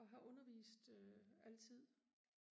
og har undervist øh altid